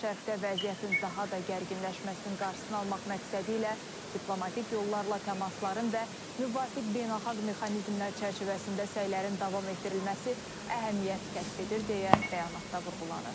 Yaxın Şərqdə vəziyyətin daha da gərginləşməsinin qarşısını almaq məqsədi ilə diplomatik yollarla təmasların və müvafiq beynəlxalq mexanizmlər çərçivəsində səylərin davam etdirilməsi əhəmiyyət kəsb edir, deyə bəyanatda vurğulanır.